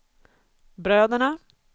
bröderna